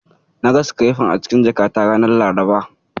Na ga sikirefar a cikin jakata ranar Laraba.